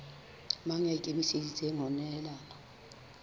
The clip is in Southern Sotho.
mang ya ikemiseditseng ho nehelana